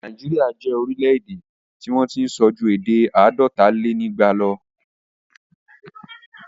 Nàíjíríà jẹ́ orílẹ̀-èdè tí wọ́n tí ń sọ ju èdè àádọ́talénígba lọ.